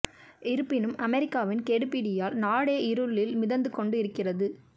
இருப்பினும் அமெரிக்காவின் கெடுபிடியால் நாடே இருளில் மிதந்து கொண்டு இருக்கிறது